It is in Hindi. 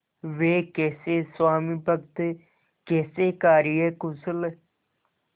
वे कैसे स्वामिभक्त कैसे कार्यकुशल